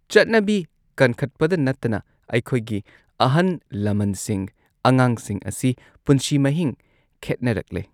ꯆꯠꯅꯕꯤ ꯀꯟꯈꯠꯄꯗ ꯅꯠꯇꯅ ꯑꯩꯈꯣꯏꯒꯤ ꯑꯍꯟ ꯂꯃꯟꯁꯤꯡ ꯑꯉꯥꯡꯁꯤꯡ ꯑꯁꯤ ꯄꯨꯟꯁꯤ ꯃꯍꯤꯡ ꯈꯦꯠꯅꯔꯛꯂꯦ꯫